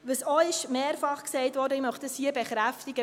Was auch mehrfach gesagt wurde – ich möchte dies hier bekräftigen: